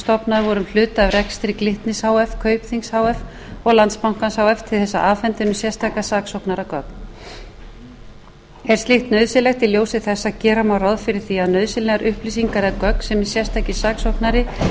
stofnaðir voru um hluta af rekstri glitnis h f kaupþings h f og landsbankans h f til þess að afhenda hinum sérstaka saksóknara gögn er slíkt nauðsynlegt í ljósi þess að gera má ráð fyrir því að nauðsynlegar upplýsingar eða gögn sem hinn sérstaki saksóknari